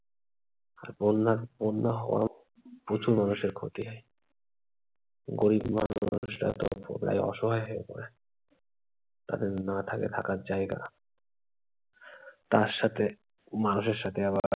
আর বন্যা, বন্যা হওয়ায় প্রচুর মানুষের ক্ষতি হয়। গরিব মানুষরা প্রায় অসহায় হয়ে যায়। তাদের না থাকে থাকার জায়গা তার সাথে মানুষের সাথে আবার